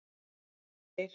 Margeir